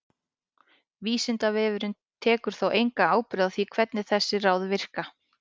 Vísindavefurinn tekur þó enga ábyrgð á því hvernig þessi ráð virka.